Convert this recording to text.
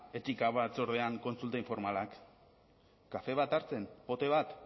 etika batzordean kontsulta informalak kafe bat hartzen pote bat